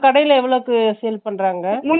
கடைல எவ்ளோக்கு sale பண்றாங்க ?